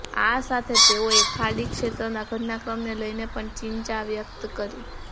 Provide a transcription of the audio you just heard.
આ સાથે તેઓએ ખાડી ક્ષેત્રના ઘટનાક્રમને લઇને પણ ચિંચા વ્યક્ત કરી